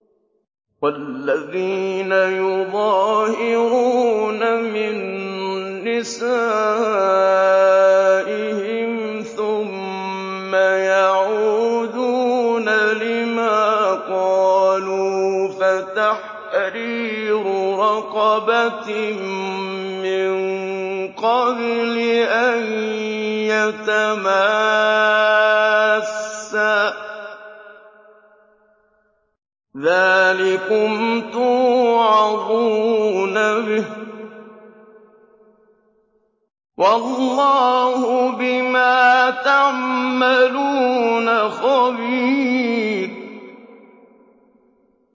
وَالَّذِينَ يُظَاهِرُونَ مِن نِّسَائِهِمْ ثُمَّ يَعُودُونَ لِمَا قَالُوا فَتَحْرِيرُ رَقَبَةٍ مِّن قَبْلِ أَن يَتَمَاسَّا ۚ ذَٰلِكُمْ تُوعَظُونَ بِهِ ۚ وَاللَّهُ بِمَا تَعْمَلُونَ خَبِيرٌ